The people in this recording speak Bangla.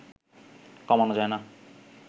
কমানো যায় না